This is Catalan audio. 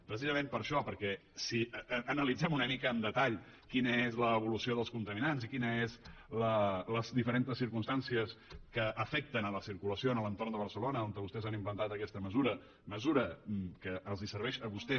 precisament per això perquè si analitzem una mica amb detall quina és l’evolució dels contaminants i quines són les diferents circumstàncies que afecten la circulació a l’entorn de barcelona on vostès han inventat aquesta mesura mesura que els serveix a vostès